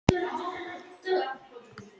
Kannski biblíulesturinn sé að segja til sín.